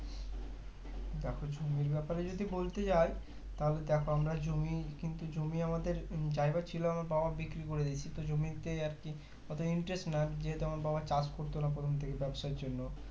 দেখো জমির ব্যাপারে যদি বলতে যাও তাহলে দেখো আমরা জমি কিন্তু জমি আমাদের উহ যাই বা ছিল আমার বাবা বিক্রি করে দিয়েছে তো জমিতে আর কি অত interest না যেহুতু আমার বাবা চাষ করতো না প্রথম থেকে ব্যাবসার জন্য